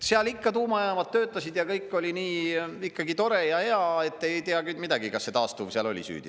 Seal ikka tuumajaamad töötasid ja kõik oli nii tore ja hea, et te ei tea midagi, kas see taastuv seal oli süüdi.